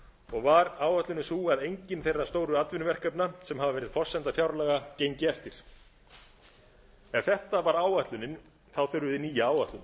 og var áætlunin sú að enginn þeirra stóru atvinnuverkefna sem hafa verið forsenda fjárlaga gengi eftir ef þetta var áætlunin þurfum við nýja